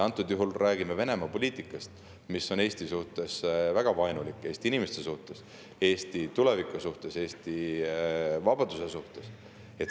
Antud juhul me räägime Venemaa poliitikast, mis on Eesti suhtes, Eesti inimeste suhtes, Eesti tuleviku suhtes, Eesti vabaduse suhtes väga vaenulik.